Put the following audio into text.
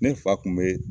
Ne fa kun bee